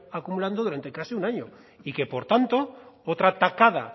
acumulando durante casi un año y que por tanto otra tacada